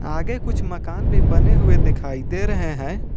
आगे कुछ मकान भी बने हुए दिखाई दे रहे हैं।